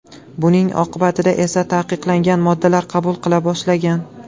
Buning oqibatida esa taqiqlangan moddalar qabul qila boshlagan.